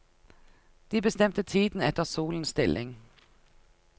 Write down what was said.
De bestemte tiden etter solens stilling.